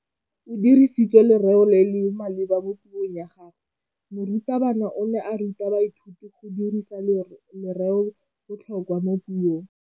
O dirisitse lerêo le le maleba mo puông ya gagwe. Morutabana o ne a ruta baithuti go dirisa lêrêôbotlhôkwa mo puong.